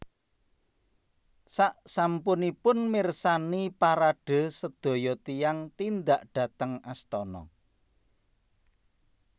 Saksampunipun mirsani parade sedaya tiyang tindak dhateng astana